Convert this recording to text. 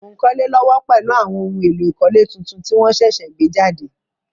Mo n kólé lówó pèlu àwon oun éló ìkólé tuntun ti won sẹ̀sẹ̀ gbé jàde